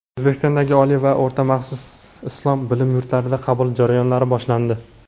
O‘zbekistondagi oliy va o‘rta maxsus islom bilim yurtlarida qabul jarayonlari boshlandi.